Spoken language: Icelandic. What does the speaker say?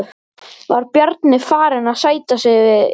Var Bjarni farinn að sætta sig við jafnteflið?